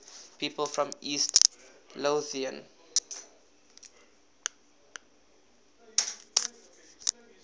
people from east lothian